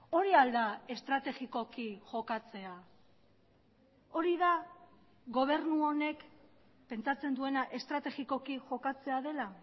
hori al da estrategikoki jokatzea hori da gobernu honek pentsatzen duena estrategikoki jokatzea dela